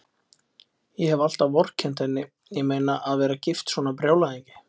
Ég hef alltaf vorkennt henni, ég meina, að vera gift svona brjálæðingi.